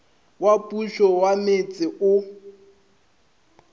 wa pušo wa metse o